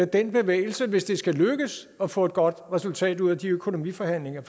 den bevægelse hvis det skal lykkes at få et godt resultat ud af de økonomiforhandlinger